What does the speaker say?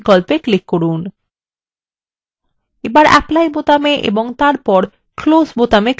এখন apply বোতামে click করুন এবং তারপর close বোতামে click করুন